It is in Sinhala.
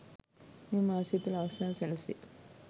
මෙම මාසය තුළ අවස්ථාව සැලසේ